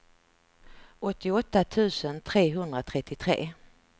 åttioåtta tusen trehundratrettiotre